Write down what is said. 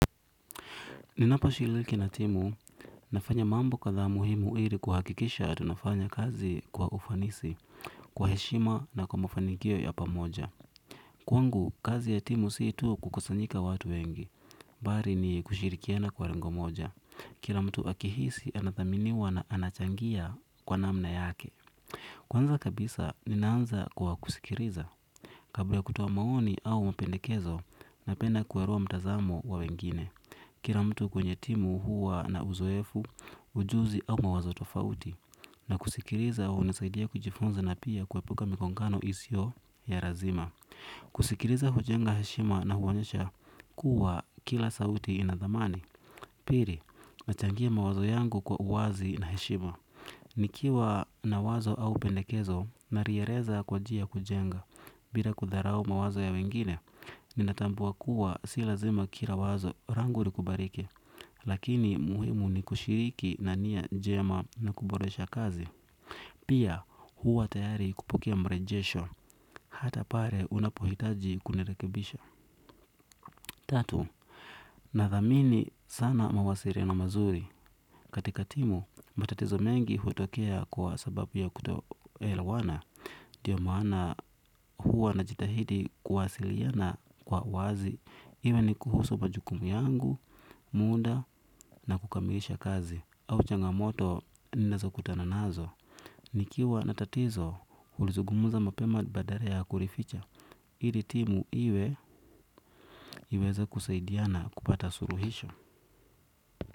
Ninaposhiriki na timu, ninafanya mambo kwa dhana muhimu ili kuhakikisha tunafanya kazi kwa ufanisi, kwa heshima na kwa mafanikio ya pamoja. Kwangu, kazi ya timu si tu kukusanyika watu wengi. Bali ni kushirikiana kwa lengo moja, kila mtu akihisi anathaminiwa na anachangia kwa namna yake. Kwanza kabisa, ninaanza kwa kusikiliza. Kabla ya kutoa maoni au mapendekezo, napenda kuelewa mtazamo wa wengine. Kila mtu kwenye timu huwa na uzoefu, ujuzi au mawazo tofauti. Na kusikiliza hunisaidia kujifunza na pia kuepuka migongano isiyo ya lazima. Kusikiliza hujenga heshima na huonyesha kuwa kila sauti ina thamani. Pili, nachangia mawazo yangu kwa uwazi na heshima. Nikiwa na wazo au pendekezo, nalieleza kwa njia ya kujenga. Bila kudharau mawazo ya wengine. Ninatambua kuwa si lazima kila wazo langu likubalike. Lakini muhimu ni kushiriki na nia njema na kuboresha kazi. Pia, huwa tayari kupokea marejesho. Hata pale unapohitaji kunirekebisha. Tatu, nathamini sana mawasiliano mazuri. Katika timu, matatizo mengi hutokea kwa sababu ya kutoelewana. Ndiyo maana huwa najitahidi kuwasiliana kwa wazi, iwe ni kuhusu majukumu yangu, muda wa kukamilisha kazi. Au changamoto, ninazokutana nazo. Nikiwa na tatizo, hulizungumza mapema badala ya kulificha. Ili timu iweze kusaidiana kupata suluhisho.